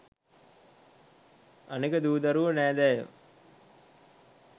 අනෙක දූ දරුවො නෑදෑයෝ